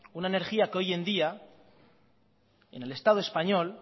una energía que hoy en día en el estado español